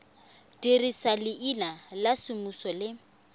dirisa leina la semmuso le